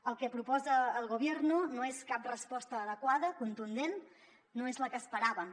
el que proposa el gobierno no és cap resposta adequada contundent no és la que esperàvem